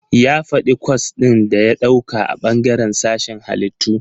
Ya faɗi kwas ɗin da ya ɗauka a bangaren sashen Hallitu..